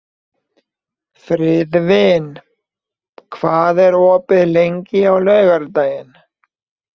Friðvin, hvað er opið lengi á laugardaginn?